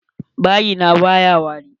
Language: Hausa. Bayi na baya wari.